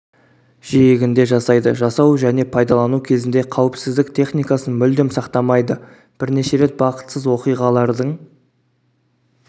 жиегінде жасайды жасау және пайдалану кезінде қауіпсіздік техникасын мүлдем сақтамайды бірнеше рет бақытсыз оқиғалардың